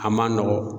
A man nɔgɔn